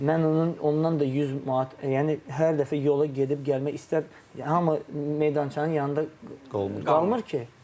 Mən onun ondan da 100 manat, yəni hər dəfə yola gedib gəlmək istər hamı meydançanın yanında qalmır ki.